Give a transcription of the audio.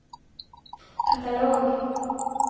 katalog